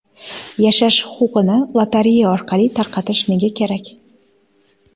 Yashash huquqini lotereya orqali tarqatish nega kerak?